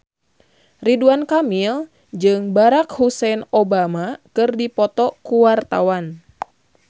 Ridwan Kamil jeung Barack Hussein Obama keur dipoto ku wartawan